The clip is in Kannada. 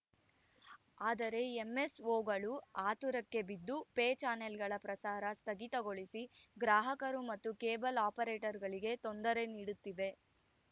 ಆದರೆ ಎಂಎಸ್‌ಓಗಳು ಆತುರಕ್ಕೆ ಬಿದ್ದು ಪೇ ಚಾನೆಲ್‌ಗಳ ಪ್ರಸಾರ ಸ್ಥಗಿತಗೊಳಿಸಿ ಗ್ರಾಹಕರು ಮತ್ತು ಕೇಬಲ್‌ ಆಪರೇಟರ್‌ಗಳಿಗೆ ತೊಂದರೆ ನೀಡುತ್ತಿವೆ